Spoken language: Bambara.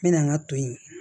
N mɛna n ka to yen